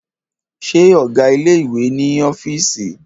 Ṣé ọgá ilé ìwé wà ní ọ́fìísì?